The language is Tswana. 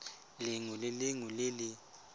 lengwe le lengwe le le